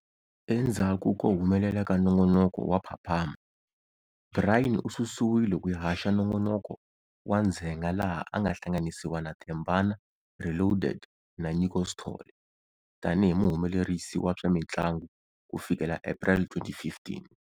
Endzhaku ko humelela ka nongonoko wa Phaphama's, Brian ususiwile ku ya haxa nongonoko wa ndzhenga laha a nga hlanganisiwa na Thembzana Reloaded na Nyiko Sithole tani hi muhumelerisi wa swa mintlangu ku fikela April 2015.